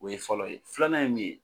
O ye fɔlɔ ye filanan ye min ye.